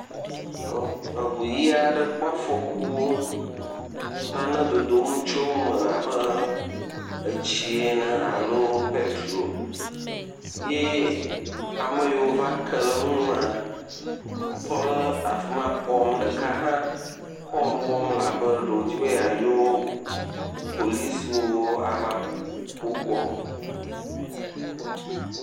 Eʋu ɣi aɖe kpɔ afɔku eye nane dodom le eʋua me abe etsi ene alo petro ye ame yiwo ke ɖe enua, tɔ ɖe afima ekpɔm. Ame ɖeka kɔl wɔm abe ɖewo dzi be ya yɔ polisiwo ava kpɔ gbɔ.